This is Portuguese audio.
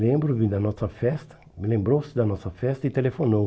lembro-me da nossa festa, me Lembrou-se da nossa festa e telefonou.